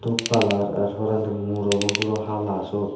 kalar ar porendi murobuo puro hala suot.